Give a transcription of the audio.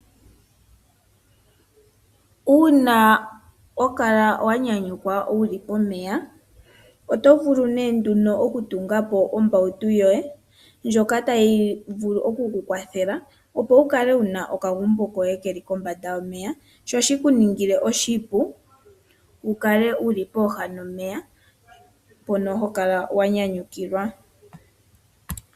Uuna hokala wanyanyukwa uli po meya. Otovulu nee nduno okutungapo ombautu yoye. Ndjoka tayivulu okukukwathela opo ukale una okagumbo koye keli kombanda yomeya, sho shikuningile oshipu ukale uli pooha nomeya mpono hokala wanyanyukilwa.